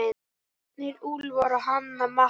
Ernir, Úlfar og Hanna Matta.